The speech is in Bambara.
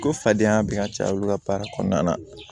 Ko fadenya bɛ ka caya olu ka baara kɔnɔna na